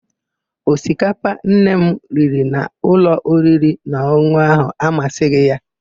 Osikapa Nne m riri n'ụlọ oririnaọn̄ụn̄ụ áhụ̀ amasịghị ya.